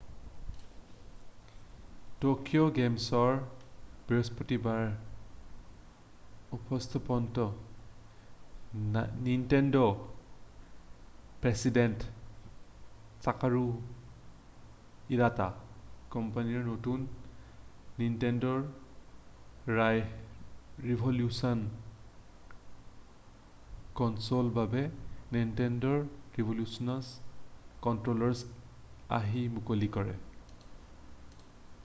Tokyo game শ্ব'ৰ বৃহস্পতিবাৰৰ উপস্থাপনত নাইনটেণ্ডৰ প্ৰেছিডেণ্ট ছাটৰু ইৱাটাই কোম্পানীৰ নতুন নাইনটেণ্ড' ৰিভলিউচন কনছোলৰ বাবে নাইনটেণ্ড' ৰিভলিউচন কণ্ট্ৰ'লাৰৰ আৰ্হি মুকলি কৰে